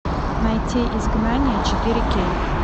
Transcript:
найти изгнание четыре кей